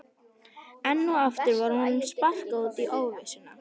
Enn og aftur var honum sparkað út í óvissuna.